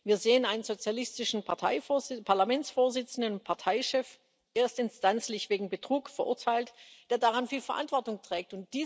Wir sehen einen sozialistischen Parlamentsvorsitzenden und Parteichef erstinstanzlich wegen Betrug verurteilt der daran viel Verantwortung trägt.